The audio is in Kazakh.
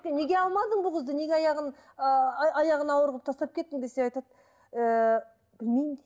неге алмадың бұл қызды неге аяғын ыыы аяғын ауыр қылып тастап кеттің десем айтады ііі білмеймін дейді